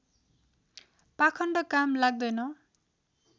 पाखण्ड काम लाग्दैन